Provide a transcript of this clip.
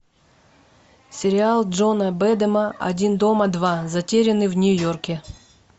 сериал джона бэдэма один дома два затерянный в нью йорке